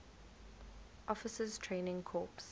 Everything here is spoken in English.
officers training corps